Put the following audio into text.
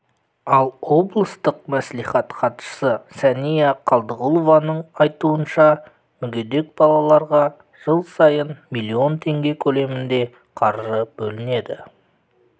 ал облыстық мәслихат хатшысы сәния қалдығұлованың айтуынша мүгедек балаларға жыл сайын миллион теңге көлемінде қаржы бөлінеді